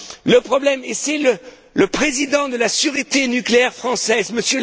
Le problème, et c'est le président de la sûreté nucléaire française,